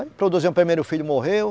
Aí, produzimos o primeiro filho, morreu.